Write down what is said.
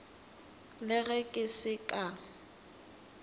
le ge ke se ka